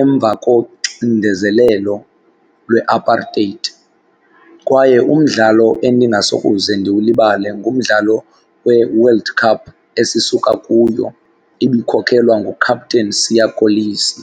emva koxindezelelo lweApartheid. Kwaye umdlalo endingasokuze ndiwulibale ngumdlalo weWorld Cup esisuka kuyo ibikhokelwa nguCaptain Siya Kolisi.